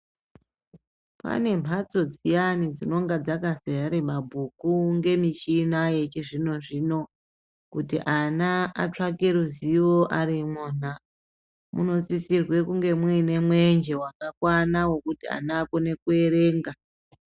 Pane mbatso dziyani dzinenge dzakazara mabhuku ngemichina yechizvino-zvino kuti ana atsvake ruzivo arimwona munosisirwa kuti munge mune mwenje wakakwana wekuti ana akone kuzoerenga.